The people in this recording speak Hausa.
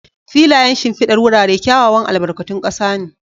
Filayen shimfidar wurare kyawawan albarkatun ƙasa ne.